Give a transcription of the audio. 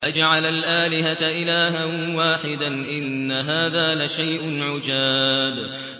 أَجَعَلَ الْآلِهَةَ إِلَٰهًا وَاحِدًا ۖ إِنَّ هَٰذَا لَشَيْءٌ عُجَابٌ